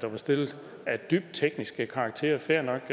der var stillet af dybt teknisk karakter fair nok